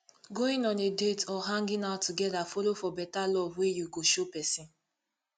going on a date or hanging out together follow for beta love wey you go show pesin